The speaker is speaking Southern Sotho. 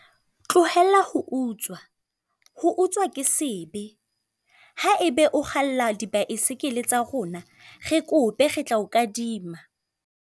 Tlohela ho utswa, ho utswa ke sebe. Ha ebe o kgalla di-bicycle-e tsa rona, re kope re tla o kadima.